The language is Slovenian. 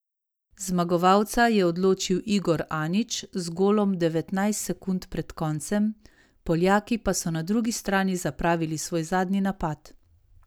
Zmagovalca je odločil Igor Anić z golom devetnajst sekund pred koncem, Poljaki pa so na drugi strani zapravili svoj zadnji napad.